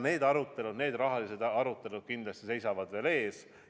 Need rahalised arutelud kindlasti seisavad veel ees.